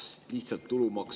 Austatud istungi juhataja!